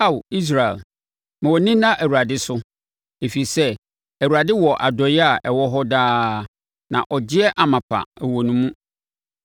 Ao Israel, ma wʼani nna Awurade so, ɛfiri sɛ Awurade wɔ adɔeɛ a ɛwɔ hɔ daa na ɔgyeɛ amapa wɔ ne mu.